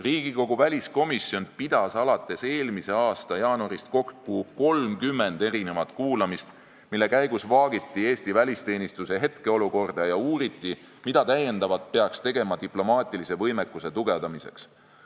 Riigikogu väliskomisjon on alates eelmise aasta jaanuarist pidanud kokku 30 kuulamist, mille käigus on vaagitud Eesti välisteenistuse hetkeolukorda ja uuritud, mida täiendavat peaks tegema diplomaatilise võimekuse tugevdamiseks.